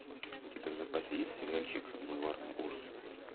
у тебя в запасе есть сериальчик бульварные ужасы